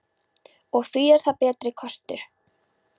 Og hví er það betri kostur?